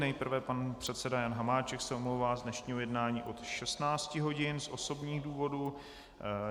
Nejprve pan předseda Jan Hamáček se omlouvá z dnešního jednání od 16 hodin z osobních důvodů.